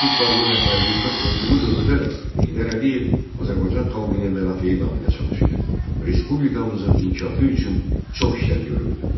Sovet İttifaqının rəhbərliyində olduğu dövrdə də Heydər Əliyev Azərbaycan xalqının mənafeyi naminə çalışır, respublikamızın inkişafı üçün çox işlər görürdü.